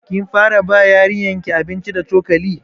Kin fara ba yarinyar ki abinci da cokali?